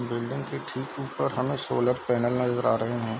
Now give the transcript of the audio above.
Building के ठीक उपर हमे सोलर पेंनल नजर आ रहे हैं।